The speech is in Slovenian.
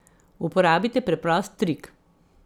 Uporabite preprost trik.